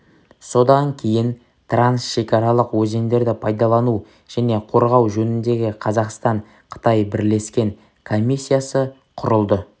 содан кейін трансшекаралық өзендерді пайдалану және қорғау жөніндегі қазақстан-қытай бірлескен комиссиясы құрылды